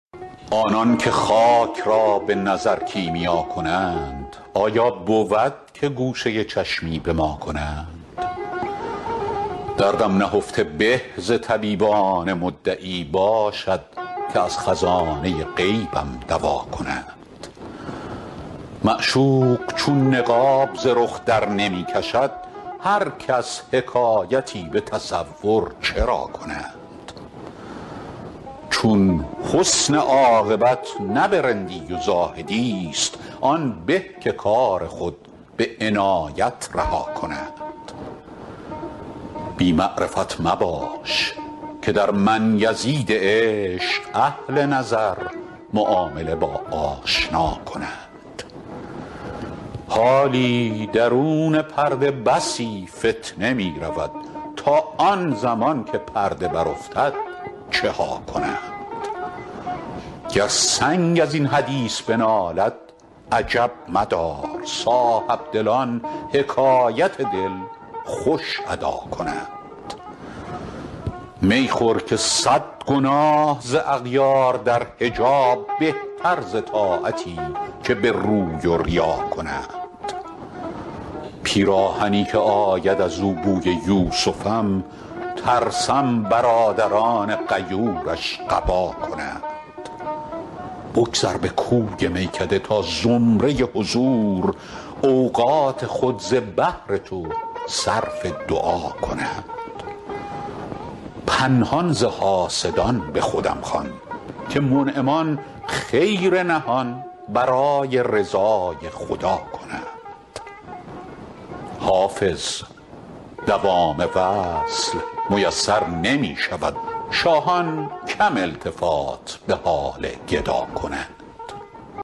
آنان که خاک را به نظر کیمیا کنند آیا بود که گوشه چشمی به ما کنند دردم نهفته به ز طبیبان مدعی باشد که از خزانه غیبم دوا کنند معشوق چون نقاب ز رخ درنمی کشد هر کس حکایتی به تصور چرا کنند چون حسن عاقبت نه به رندی و زاهدی ست آن به که کار خود به عنایت رها کنند بی معرفت مباش که در من یزید عشق اهل نظر معامله با آشنا کنند حالی درون پرده بسی فتنه می رود تا آن زمان که پرده برافتد چه ها کنند گر سنگ از این حدیث بنالد عجب مدار صاحبدلان حکایت دل خوش ادا کنند می خور که صد گناه ز اغیار در حجاب بهتر ز طاعتی که به روی و ریا کنند پیراهنی که آید از او بوی یوسفم ترسم برادران غیورش قبا کنند بگذر به کوی میکده تا زمره حضور اوقات خود ز بهر تو صرف دعا کنند پنهان ز حاسدان به خودم خوان که منعمان خیر نهان برای رضای خدا کنند حافظ دوام وصل میسر نمی شود شاهان کم التفات به حال گدا کنند